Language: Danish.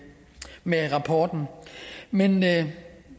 med rapporten men men